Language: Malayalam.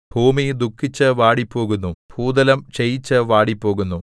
ഭൂമി ദുഃഖിച്ചു വാടിപ്പോകുന്നു ഭൂതലം ക്ഷയിച്ചു വാടിപ്പോകുന്നു